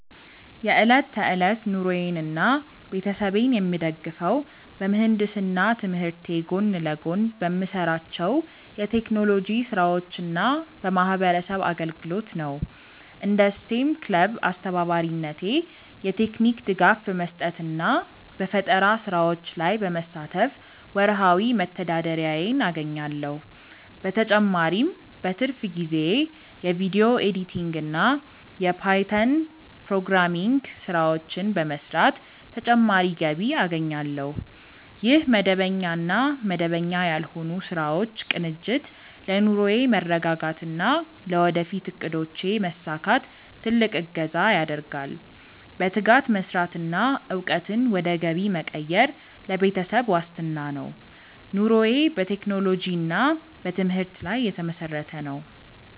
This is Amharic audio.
የዕለት ተዕለት ኑሮዬንና ቤተሰቤን የምደግፈው በምህንድስና ትምህርቴ ጎን ለጎን በምሰራቸው የቴክኖሎጂ ስራዎችና በማህበረሰብ አገልግሎት ነው። እንደ ስቴም ክለብ አስተባባሪነቴ የቴክኒክ ድጋፍ በመስጠትና በፈጠራ ስራዎች ላይ በመሳተፍ ወርሃዊ መተዳደሪያዬን አገኛለሁ። በተጨማሪም በትርፍ ጊዜዬ የቪዲዮ ኤዲቲንግና የፓይተን ፕሮግራሚንግ ስራዎችን በመስራት ተጨማሪ ገቢ አገኛለሁ። ይህ መደበኛና መደበኛ ያልሆኑ ስራዎች ቅንጅት ለኑሮዬ መረጋጋትና ለወደፊት እቅዶቼ መሳካት ትልቅ እገዛ ያደርጋል። በትጋት መስራትና እውቀትን ወደ ገቢ መቀየር ለቤተሰብ ዋስትና ነው። ኑሮዬ በቴክኖሎጂና በትምህርት ላይ የተመሰረተ ነው።